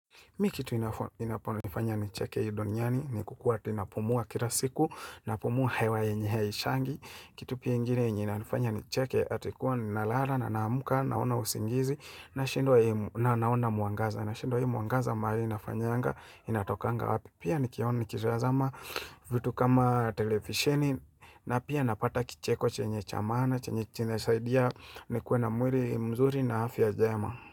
Mi kitu inaponifanya ni cheke hi duniani ni kukua ati napumua kila siku na pumua hewa yenye hishangi. Kitu pia igine inafanya ni cheke atikuwa nalala na naamuka naona usingizi na naona muangaza. Na shindw hi mwangaza maali inafanyanga inatokanga wapi. Pia nikiona nikitazama vitu kama televisheni na pia napata kicheko chenye cha maana chenye chenye nasaidia ni kue na mwili mzuri na afya jema.